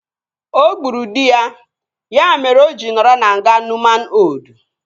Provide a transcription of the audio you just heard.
O gburu dị ya, ya mere o ji nọrọ na nga Nuuman Oldu